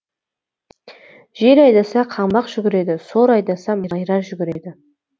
жел айдаса қаңбақ жүгіреді сор айдаса майра жүгіреді